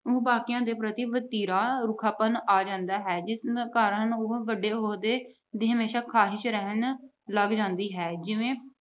ਬਾਕੀਆਂ ਦੇ ਪ੍ਰਤੀ ਵਤੀਰਾ ਰੁੱਖਾਪਣ ਆ ਜਾਂਦਾ ਹੈ। ਇਸ ਕਾਰਨ ਵੱਡੇ ਅਹੁਦੇ ਦੀ ਹਮੇਸ਼ਾ ਖੁਆਇਸ਼ ਰਹਿਣ ਲੱਗ ਜਾਂਦੀ ਹੈ ਜਿਵੇਂ